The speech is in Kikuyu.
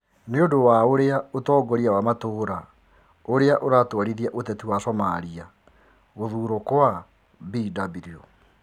Niũndũ wa ũria utongoria wa matura ũria iratwarithia ũteti wa Somalia, Guthurwo kwa Bw.